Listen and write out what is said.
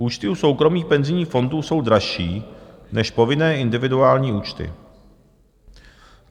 Účty u soukromých penzijních fondů jsou dražší než povinné individuální účty.